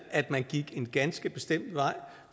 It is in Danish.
at man gik en ganske bestemt vej